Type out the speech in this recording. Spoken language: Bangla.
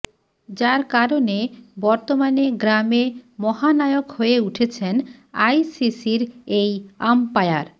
যার কারণে বর্তমানে গ্রামে মহানায়ক হয়ে উঠেছেন আইসিসির এই আম্পায়ার